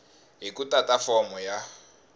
hi ku tata fomo ya